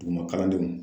Duguma kalandenw